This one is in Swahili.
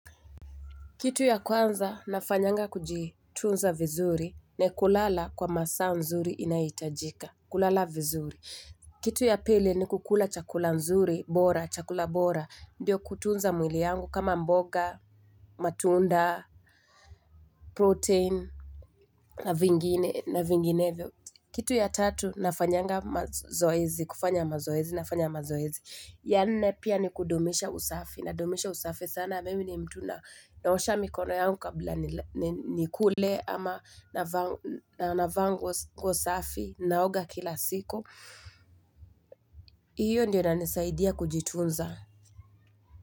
Kitu ya kwanza nafanyanga kujitunza vizuri ni kulala kwa masaa nzuri inayohitajika kulala vizuri Kitu ya pili ni kukula chakula nzuri bora chakula bora ndio kutunza mwili yangu kama mboga matunda protein na vinginevyo Kitu ya tatu nafanya mazoezi ya nne pia ni kudumisha usafi, nadumisha usafi sana Mimi ni mtu naosha mikono yangu kabla nikule na navaa nguo safi naoga kila siku Iyo ndio inanisaidia kujitunza.